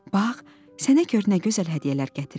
Bax, sənə gör nə gözəl hədiyyələr gətirib.